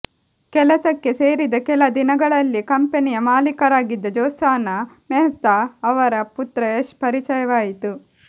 ಕೆಲಸಕ್ಕೆ ಸೇರಿದ ಕೆಲ ದಿನಗಳಲ್ಲಿಯೇ ಕಂಪನಿಯ ಮಾಲೀಕರಾಗಿದ್ದ ಜ್ಯೋತ್ಸಾನಾ ಮೆಹ್ತಾ ಅವರ ಪುತ್ರ ಯಶ್ ಪರಿಚಯವಾಯಿತು